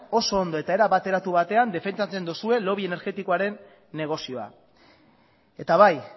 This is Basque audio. oso ondo eta era bateratu batean defendatzen duzue lobby energetikoaren negozioa eta bai